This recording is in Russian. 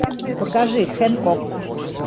покажи хенкок